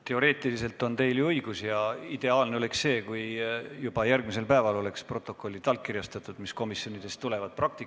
Teoreetiliselt on teil ju õigus ja ideaalne oleks see, kui juba järgmisel päeval oleks protokollid, mis komisjonidest tulevad, allkirjastatud.